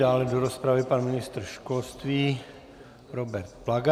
Dále do rozpravy pan ministr školství Robert Plaga.